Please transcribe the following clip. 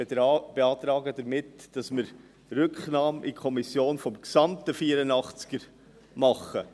Ich beantrage die Rücknahme des gesamten Artikels 84 in die Kommission.